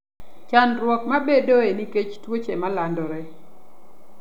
Chandruok mabedoe nikech tuoche malandore.